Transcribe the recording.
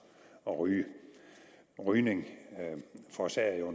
at ryge rygning forårsager jo